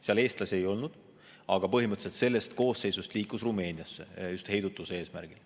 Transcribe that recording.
Seal eestlasi ei olnud, aga põhimõtteliselt sellest koosseisust liiguti Rumeeniasse just heidutuse eesmärgil.